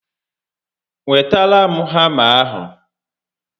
Wetara m hama ahụ